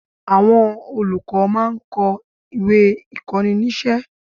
Àwọn olùkọ́ máa ń kó ìwé ìkóninísé